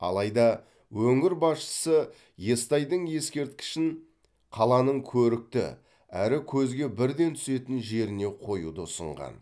алайда өңір басшысы естайдың ескерткішін қаланың көрікті әрі көзге бірден түсетін жеріне қоюды ұсынған